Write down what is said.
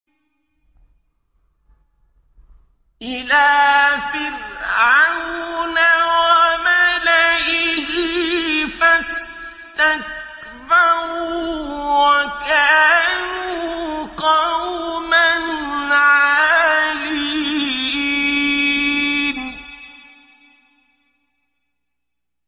إِلَىٰ فِرْعَوْنَ وَمَلَئِهِ فَاسْتَكْبَرُوا وَكَانُوا قَوْمًا عَالِينَ